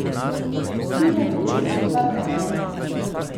Plujemo proti Kvarnerju.